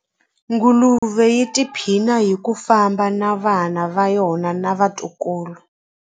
Nguluve yi tiphina hi ku famba na vana va yona na vatukulu.